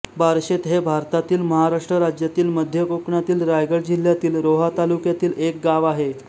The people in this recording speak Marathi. बारशेत हे भारतातील महाराष्ट्र राज्यातील मध्य कोकणातील रायगड जिल्ह्यातील रोहा तालुक्यातील एक गाव आहे